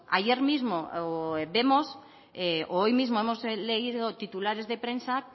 ayer mismo vemos o hoy mismo hemos leído titulares de prensa